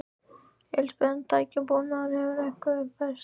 Elísabet: En tækjabúnaður, hefur hann eitthvað uppfærst?